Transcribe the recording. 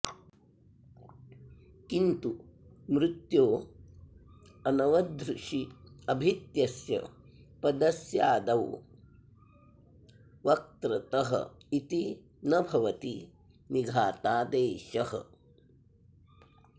किन्तु मृत्यो अनवधृष्यभित्यस्य पदस्यादौ वत्र्तत इति न भवति निघातादेशः